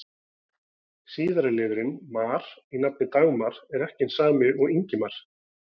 Síðari liðurinn-mar í nafninu Dagmar er ekki hinn sami og í Ingimar.